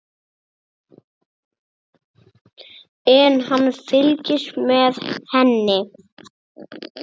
En hann fylgist með henni.